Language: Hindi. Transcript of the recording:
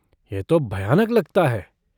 यह तो भयानक लगता है।